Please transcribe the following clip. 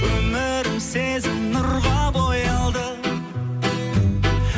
өмірім сезім нұрға боялды